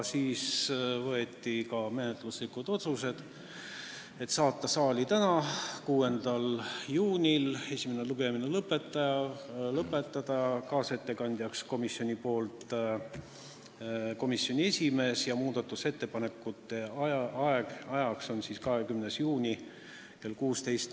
Siis võeti vastu menetluslikud otsused: saata eelnõu saali tänaseks, 6. juuniks, esimene lugemine lõpetada, kaasettekandjaks komisjoni nimel määrata komisjoni esimees ning muudatusettepanekute esitamise tähtaeg on 20. juuni kell 16.